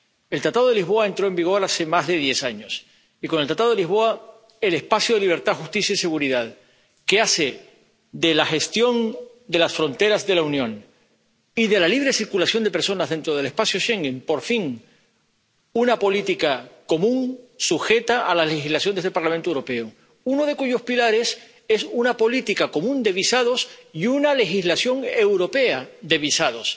El Tratado de Lisboa entró en vigor hace más de diez años y, con el Tratado de Lisboa, el espacio de libertad, justicia y seguridad, que hace de la gestión de las fronteras de la Unión y de la libre circulación de personas dentro del espacio Schengen, por fin, una política común sujeta a la legislación de este Parlamento Europeo, uno de cuyos pilares es una política común de visados y una legislación europea de visados.